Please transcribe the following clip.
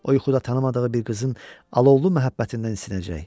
O yuxuda tanımadığı bir qızın alovlu məhəbbətindən isinəcək.